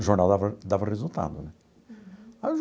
O jornal dava dava resultado, né?